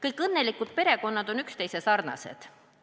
"Kõik õnnelikud perekonnad on üksteise sarnased.